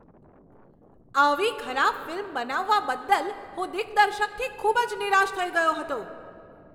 આવી ખરાબ ફિલ્મ બનાવવા બદલ હું દિગ્દર્શકથી ખૂબ જ નિરાશ થઈ ગયો હતો.